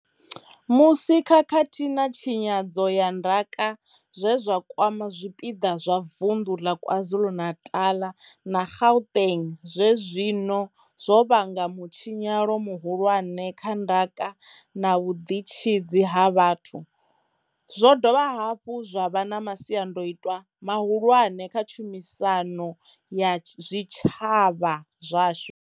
Musi khakhathi na tshinyadzo ya ndaka zwe zwa kwama zwipiḓa zwa vunḓu ḽa KwaZulu-Natal na Gauteng zwezwino zwo vhanga mu tshinyalo muhulwane kha ndaka na vhuḓitshidzi ha vhathu, zwo dovha hafhu zwa vha na masiandaitwa mahulwane kha tshumisano ya zwitshavha zwashu.